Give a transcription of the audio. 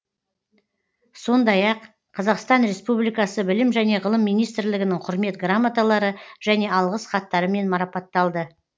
сондай ақ қазақстан республикасы білім және ғылым министрлігінің құрмет грамоталары және алғыс хаттарымен марапатталды